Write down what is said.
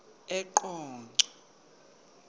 eqonco